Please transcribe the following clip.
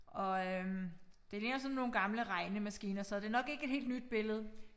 Og øh det ligner sådan nogle gamle regnemaskiner så det nok ikke et helt nyt billede